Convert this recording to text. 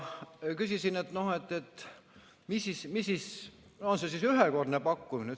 Küsisin, kas see on siis ühekordne pakkumine.